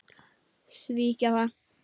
Svíkja það.